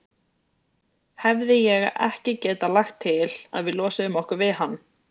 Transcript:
Hefði ég ekki getað lagt til, að við losuðum okkur við hann?